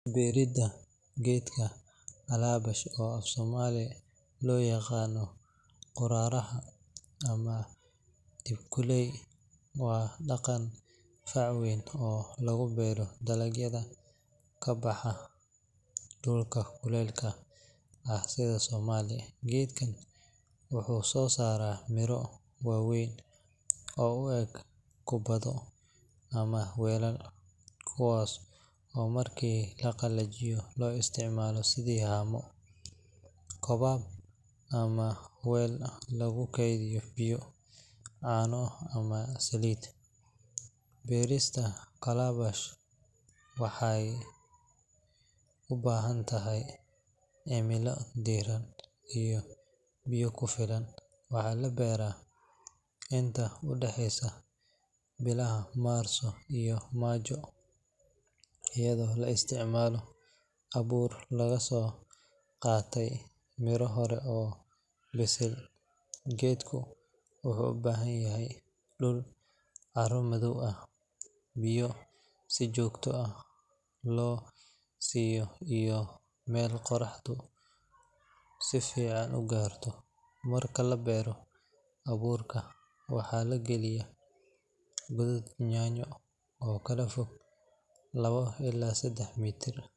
Beerida geedka calabash oo afsoomali looyaqaano qoraaraha ama ekuley waa daqan fac weyn oo lagubeero dalagyada kabaxa dulka kuleelka ah sida somalia. Gedkan wuxu sosaraa miro waaweyn oo ueg kubado ama welal kuwa oo marki laqalajiyo loo isticmalo sidi haamo cobab ama wel lagukediyo biyo cano ama salid. Berista kalabash waxey ubaaxantahy cimila diiran iyo biyo kufilan. Waxaa laberaa inta udaxeysa bilaha marso iyo majo iyadoo laisticmalo abuur lagasoqaatey mira horey oo lisey . Gedku wuxu ubahanyahy dul caro madoob biyo sijoogto ah loosiyo iyo mel qoraxdu sifican ugaarto. Marka labeero abuurka waxaa lagaliya godad nyanyo oo kalafog lawo ila seda mitar.